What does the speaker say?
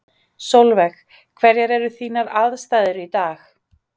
Sólveig: Hverjar eru þínar aðstæður í dag?